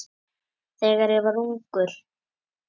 Þegar ég var ungur.